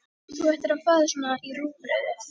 Þú ættir að fá þér svona í rúgbrauðið!